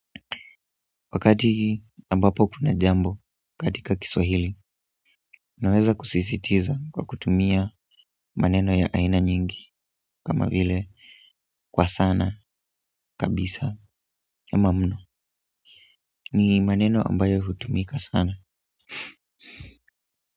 Wakati ambapo kuna jambo katika Kiswahili, naweza kusisitiza kwa kutumia maneno ya aina nyingi kama vile kwa sana, kabisa ama mno. Ni maneno ambayo hutumika sana.